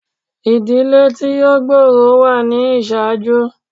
Ìdílé tí ó gbòòrò wà ni ìṣáájú.